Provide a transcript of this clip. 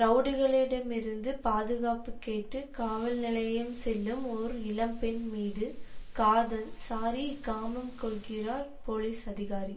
ரவுடிகளிடமிருந்து பாதுகாப்பு கேட்டு காவல் நிலையம் செல்லும் ஒரு இளம் பெண் மீது காதல் ஸாரி காமம் கொள்கிறார் போலீஸ் அதிகாரி